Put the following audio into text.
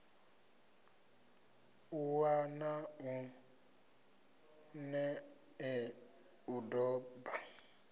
ṱuwa na nṋe u doba